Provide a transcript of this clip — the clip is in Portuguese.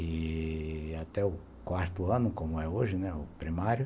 E até o quarto ano, como é hoje, né, o primário,